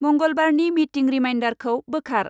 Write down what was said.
मंगलबारनि meeting रिमाइ्डरखौ बोखार।